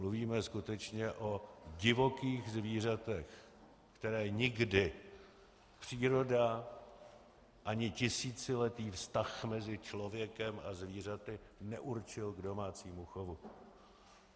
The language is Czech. Mluvíme skutečně o divokých zvířatech, která nikdy příroda ani tisíciletý vztah mezi člověkem a zvířaty neurčil k domácímu chovu.